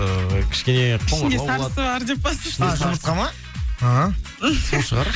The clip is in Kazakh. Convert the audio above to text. ыыы кішкене ішінде сарысы бар деп па а жұмыртқа ма ііі сол шығар